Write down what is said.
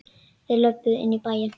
Þeir löbbuðu inn í bæinn.